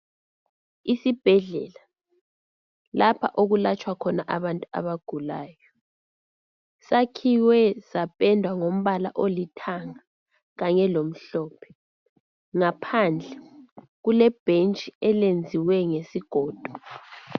Isibhedlela lapha okulatshwa khona abantu abagulayo sakhiwe sapendwa ngombala olithanga kanye lomhlophe ngaphandle kulebhentshi elenziwe ngesigodo.